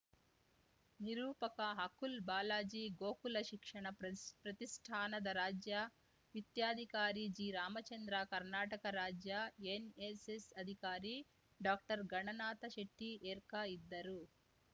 ನಿರೂಪಕ ಅಕುಲ್‌ ಬಾಲಾಜಿ ಗೋಕುಲ ಶಿಕ್ಷಣ ಪ್ರತಿ ಪ್ರತಿಷ್ಠಾನದ ರಾಜ್ಯ ವಿತ್ತ್ಯಾಧಿಕಾರಿ ಜಿರಾಮಚಂದ್ರ ಕರ್ನಾಟಕ ರಾಜ್ಯ ಎನ್‌ಎಸ್‌ಎಸ್‌ ಅಧಿಕಾರಿ ಡಾಕ್ಟರ್ಘಣನಾಥ ಶೆಟ್ಟಿಎರ್ಕಾ ಇದ್ದರು